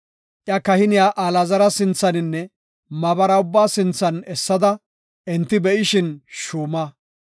Iya kahiniya Alaazara sinthaninne maabara ubbaa sinthan essada enti be7ishin shuuma.